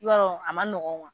Yɔrɔ a ma nɔgɔ